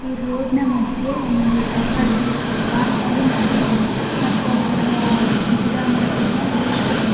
ಈ ರೋಡ್ ನ ಮಧ್ಯೆ ಒಂದು ಸರ್ಕಲ್ ಟೈಪ್ ಪಾರ್ಕ್ ಆಗಿ ಮಾಡಿರ್ತಾರೆ ಮತ್ತೆ ಅದರ ಒಳಗಡೆ ಗಿಡ ಮರಗಳನ್ನ ಬೆಳೆಸ್ತಿರ್ತಾರೆ .